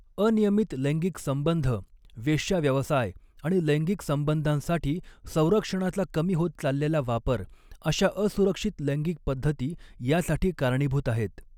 अनियमित लैंगिक संबंध, वेश्याव्यवसाय आणि लैंगिक संबंधांसाठी संरक्षणाचा कमी होत चाललेला वापर अशा असुरक्षित लैंगिक पद्धती यासाठी कारणीभूत आहेत.